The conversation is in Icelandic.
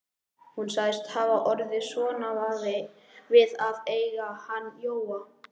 Hún sagðist hafa orðið svona við að eiga hann Jóa.